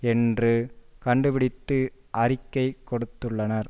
என்று கண்டுபிடித்து அறிக்கை கொடுத்துள்ளனர்